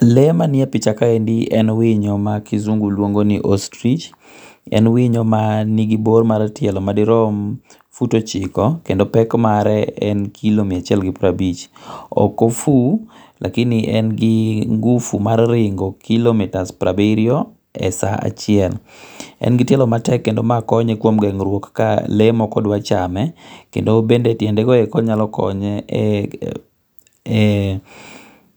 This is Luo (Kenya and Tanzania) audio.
Lee ma ni e pacha kaendi en winyo ma kizungu luongo ni ostrich, en winyo ma ni gi bor mar tielo ma di rom fut ochiko kendo pek mare en kilo mia achiel gi piero abich ,ok ofu lakini en gi nguvu mar ringo kilo mitas piero abiriyo e saa achiel. En gi tielo matek kendo ma konye kuom geng'ruok ka lee moko dwa chame kendo bende tiende go eko nya konye